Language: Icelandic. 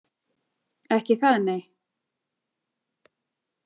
Ekki það, nei?